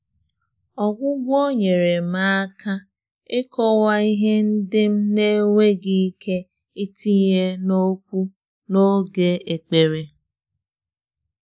Ọ́gwụ́gwọ́ nyèrè m áká ị́kọ́wá ìhè ndị́ m nà-énwéghị́ íké ítìnyé n’ókwú n’ógè ékpèré.